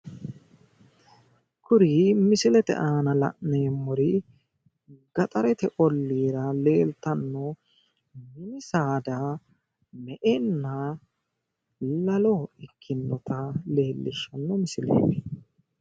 kuri misilete aana la'neemori gaxarete olliira leeltanno saada me"enna lalo ikkinota leellishshanno misileeti